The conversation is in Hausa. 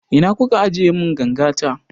Ina kuka ajiye mun ganga ta?